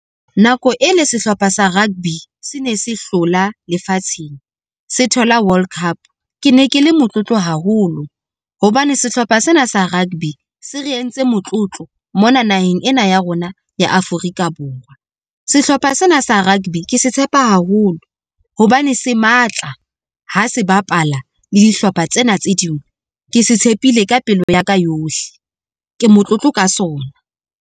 Nako e le sehlopha sa rugby se ne se hlola lefatsheng se thola World Cup. Ke ne ke le motlotlo haholo hobane sehlopha sena sa rugby se re entse motlotlo mona naheng ena ya rona ya Afrika-Borwa. Sehlopha sena sa rugby ke se tshepa haholo hobane se matla ha se bapala le dihlopha tsena tse ding. Ke se tshepile ka pelo ya ka yohle, ke motlotlo ka sona.